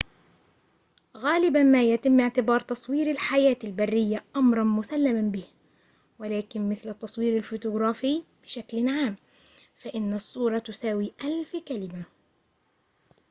غالبًا ما يتم اعتبار تصوير الحياة البرية أمراً مسلماً به ولكن مثل التصوير الفوتوغرافي بشكل عام فإن الصورة تساوي ألف كلمة